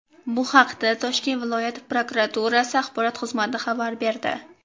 Bu haqda Toshkent viloyat prokuraturasi axborot xizmati xabar berdi .